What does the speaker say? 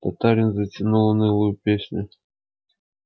татарин затянул унылую песню